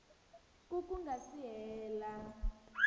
ku ku nga si hela